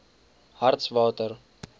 hartswater